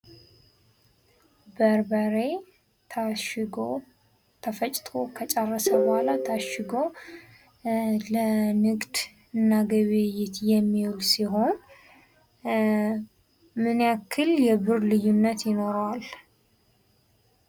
በርበሬ ተፈጭቶ ከጨረሰ በኋላ ታሽጎ ለንግድና ግብይይት የሚውል ሲሆን ምን ያክል የብር ልዩነት ይኖረዋል?